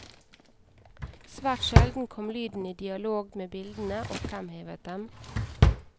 Svært sjelden kom lyden i dialog med bildene og fremhevet dem.